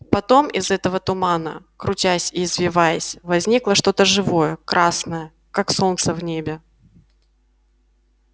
потом из этого тумана крутясь и извиваясь возникло что то живое красное как солнце в небе